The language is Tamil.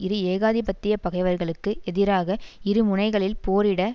இரு ஏகாதிபத்திய பகைவர்களுக்கு எதிராக இரு முனைகளில் போரிட